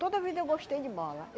Toda vida eu gostei de bola.